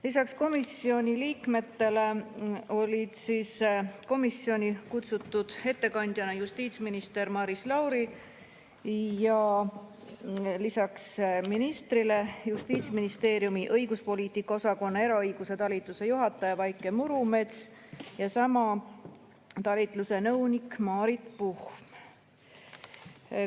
Lisaks komisjoni liikmetele olid komisjoni istungile kutsutud ettekandjana justiitsminister Maris Lauri, Justiitsministeeriumi õiguspoliitika osakonna eraõiguse talituse juhataja Vaike Murumets ja sama talituse nõunik Maarit Puhm.